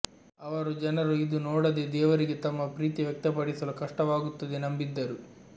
ಅವರು ಜನರು ಇದು ನೋಡದೆ ದೇವರಿಗೆ ತಮ್ಮ ಪ್ರೀತಿ ವ್ಯಕ್ತಪಡಿಸಲು ಕಷ್ಟವಾಗುತ್ತದೆ ನಂಬಿದ್ದರು